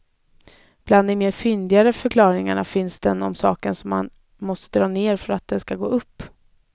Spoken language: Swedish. Bland de mer fyndiga förklaringarna finns den om saken som man måste dra ner för att den ska gå upp.